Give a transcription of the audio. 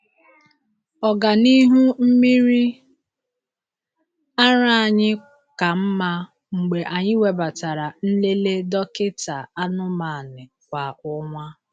Ọganihu mmiri ara anyị ka mma mgbe anyị webatara nlele dọkịta anụmanụ kwa ọnwa.